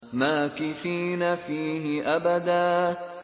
مَّاكِثِينَ فِيهِ أَبَدًا